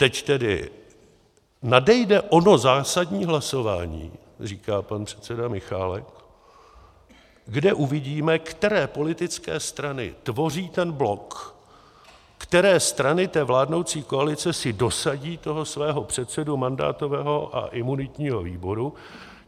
Teď tedy nadejde ono zásadní hlasování, říká pan předseda Michálek, kde uvidíme, které politické strany tvoří ten blok, které strany té vládnoucí koalice si dosadí toho svého předsedu mandátového a imunitního výboru.